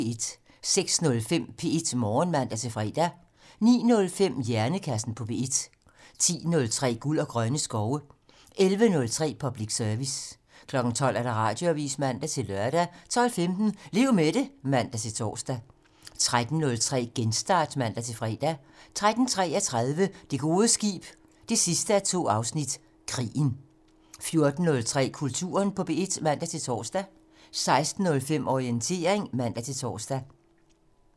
06:05: P1 Morgen (man-fre) 09:05: Hjernekassen på P1 10:03: Guld og grønne skove 11:03: Public Service 12:00: Radioavisen (man-lør) 12:15: Lev med det (man-tor) 13:03: Genstart (man-fre) 13:33: Det gode skib 2:2 - Krigen 14:03: Kulturen på P1 (man-tor) 16:05: Orientering (man-tor)